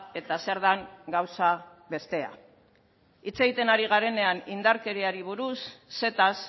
eta zer den gauza bestea hitz egiten ari garenean indarkeriari buruz zetaz